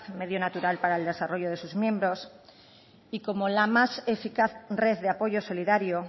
medio natural para el desarrollo de sus miembros y como la más eficaz red de apoyo solidario